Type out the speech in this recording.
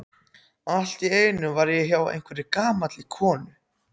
Allt í einu var ég hjá einhverri gamalli konu.